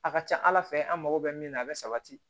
A ka ca ala fɛ an mago bɛ min na a bɛ sabati